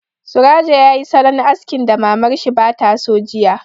Surajo yayi salon askin da Mamar shi ba ta so jiya